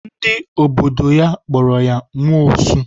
Ndị obodo ya kpọrọ ya nwa osu.